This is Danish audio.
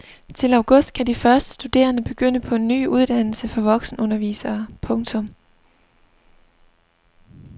Til august kan de første studerende begynde på en ny uddannelse for voksenundervisere. punktum